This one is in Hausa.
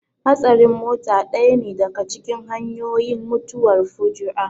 Hatsarin mota ɗaya ne daka cikin hanyoyin mutuwar fuju'a